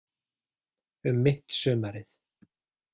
Um mitt sumarið.